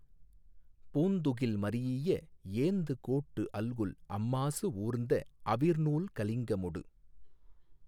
பூந்துகில் மரீஇய ஏந்துகோட்டு அல்குல் அம்மாசு ஊர்ந்த அவிர் நூல் கலிங்கமொடு